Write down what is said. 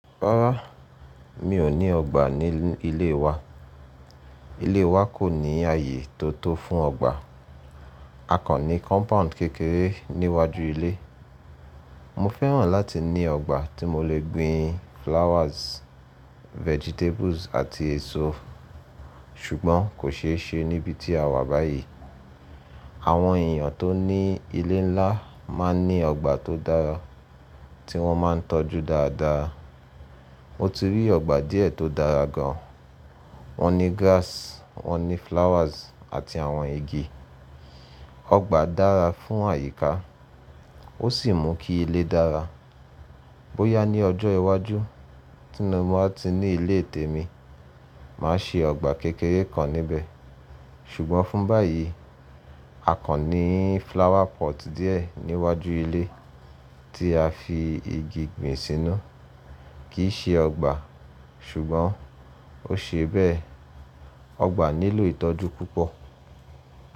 Rárá, mi ò ní ọgbà ní ilé wa. Ilé wa kò ní ààyè tó tó fún ọgbà. A kan ní compound kékeré níwájú ilé. Mọ fẹ́ràn láti ní ọgbà tí mo lè gbin flowers, vegetables àti èso, ṣùgbọ́n kò ṣe é ṣe níbi tí a wà báyìí. Àwọn èèyàn tó ní ilé ńlá máa ní ọgbà tó dára tí wọ́n máa ń tọ́jú dáadáa. Mo ti rí ọgbà díẹ̀ tó dára gan. Wọ́n ní grass, wọ́n ní flowers àti àwọn igi. Ọgbà dára fún àyíká, ó sì mú kí ilé dára. Bóyá ní ọjọ́ iwájú tí mo bá ti ní ilé tèmi, màá ṣe ọgbà kékeré kan níbẹ̀. Ṣùgbọ́n fún báyìí, a kan ní flower pot díẹ̀ níwájú ilé tí a fi igi gbin sínú. Kì ṣe ọgbà, ṣùgbọ́n ó ṣe bẹ́ẹ̀. Ọgbà nílò ìtọ́jú púpọ̀